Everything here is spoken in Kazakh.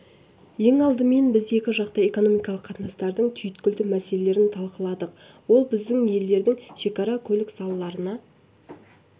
ең алдымен біз екі жақты экономикалық қатынастардың түйткілді мәселелерін талқыладық ол біздің елдердің шекара көлік салаларына